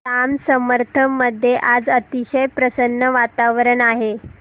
जांब समर्थ मध्ये आज अतिशय प्रसन्न वातावरण आहे